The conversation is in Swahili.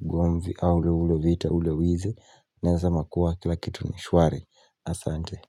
ugomvi aul ule vita ule wizi. Naeza sema kuwa kila kitu ni shwari asante.